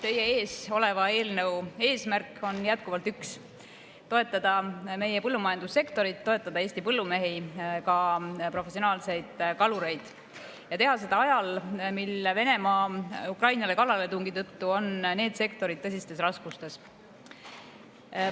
Teie ees oleva eelnõu eesmärk on jätkuvalt üks: toetada meie põllumajandussektorit, toetada Eesti põllumehi, ka professionaalseid kalureid ja teha seda ajal, mil Venemaa kallaletungi tõttu Ukrainale on need sektorid tõsistes raskustes.